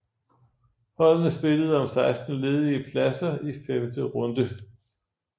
Holdene spillede om 16 ledige pladser i femte runde